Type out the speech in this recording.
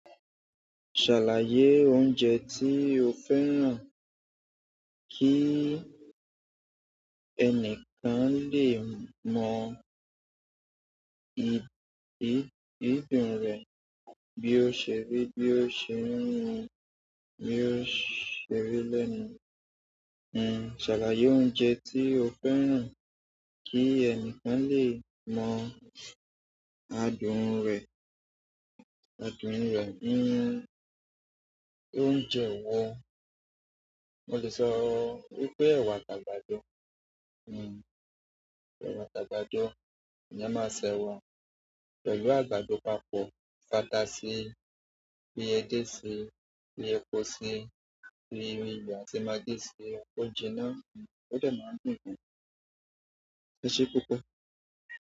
Ṣàlàyé oúnjẹ tí o fẹ́ràn kí ẹnìkan lè mọ ìbìrùn rẹ̀ bí ó ṣe rí, bí ó ṣe mímu, bí ó ṣe rí lẹ́nu. Hmm, ṣàlàyé oúnjẹ tí o fẹ́ràn kí ẹnìkan lè mọ adùn rẹ̀, adùn rẹ̀. Hmm, oúnjẹ iwo, mo lè sọ wípé ẹwà àti àgàbàdo. Hmm, ẹwà àtagàbàdo, eyan máa ṣẹ wa pẹ̀lú àgbàdo papọ̀, fata síi, fi ẹdẹ síi, fi epo síi, fi iyo àti maggi síi. Ó jiná, ó dẹ máa ń dùn ni. E ṣe púpọ̀.